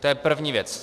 To je první věc.